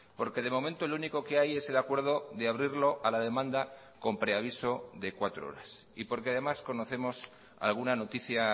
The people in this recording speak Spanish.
porque de momento el único que hay es el acuerdo de abrirlo a la demanda con preaviso de cuatro horas y porque además conocemos alguna noticia